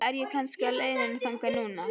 Eða er ég kannski á leiðinni þangað núna?